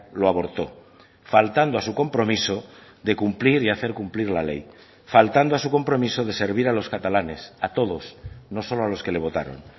lo aborto faltando a su compromiso de cumplir y hacer cumplir la ley faltando a su compromiso de servir a los catalanes a todos no solo a los que le votaron